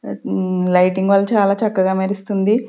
ఉమ్మ్ లైటింగ్ వల్ల చాలా చక్కగా మెరుస్తుంది.